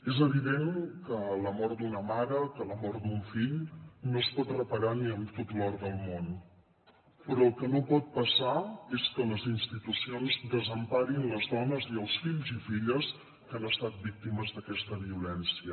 és evident que la mort d’una mare que la mort d’un fill no es pot reparar ni amb tot l’or del món però el que no pot passar és que les institucions desemparin les dones i els fills i filles que han estat víctimes d’aquesta violència